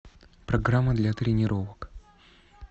программа для тренировок